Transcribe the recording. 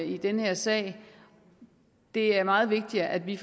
i den her sag det er meget vigtigere at vi